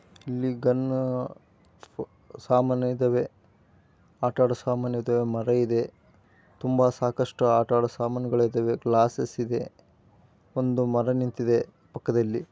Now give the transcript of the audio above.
ಇಲ್ಲಿ ಗನ್ನ ಸಾಮಾನು ಇದಾವೆ. ಆಟ ಆಡೊಸಾಮಾನು ಇದಾವೆ. ಮರ ಇದೆ ತುಂಬಾ ಸಾಕಷ್ಟು ಆಟಆಡೊ ಸಾಮಾನುಗಳಿದಾವೆ. ಗ್ಲಾಸ್ಸ್ಸ್ ಇದೆ. ಒಂದು ಮರ ನಿಂತಿದೆ ಪಕ್ಕದಲ್ಲಿ.